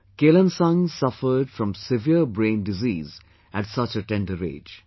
Kelansang suffered from severe brain disease at such a tender age